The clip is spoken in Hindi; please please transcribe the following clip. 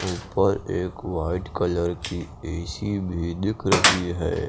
ऊपर एक वाइट कलर की ए_सी भी दिख रही है।